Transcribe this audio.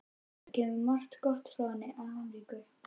Það kemur margt gott frá henni Ameríku.